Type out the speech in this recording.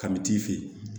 Kami t'i fe yen